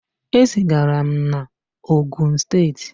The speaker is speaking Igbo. E zigara m na Ogun steeti.